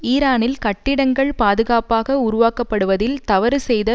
ஈரானில் கட்டிடங்கள் பாதுகாப்பாக உருவாக்கப்படுவதில் தவறு செய்த